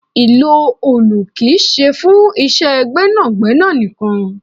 Ìlò òòlù kì í ṣe fún iṣẹ́ gbẹ́nàgbẹ́nà nìkan.